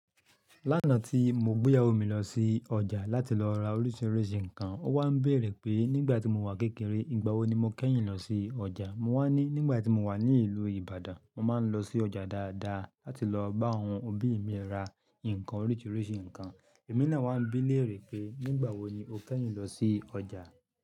Lánàá tí mo gbe ìyàwó mi lọ sí ọjà láti lọ ra oríṣiríṣi nǹkan, ó wá n béèrè pé nígbà tí mo wà kékeré, ìgbà wo ni mo kẹ́yìn lọ sí ọjà. Mo wá ní nígbà tí mo wà ní ìlú Ìbàdàn, mo máa ń lọ sí ọjà dáadáa láti lọ bá àwọn òbí mi ra nǹkan oríṣiríṣi nǹkan. Èmi náà wá n bí léèrè pé nígbà wo ni o kẹ́yìn lọ sí ọjà.